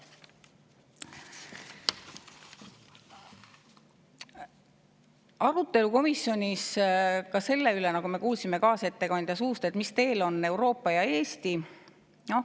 Arutelu oli komisjonis ka selle üle, nagu me kuulsime kaasettekandja suust, mis teel on Euroopa ja mis teel Eesti.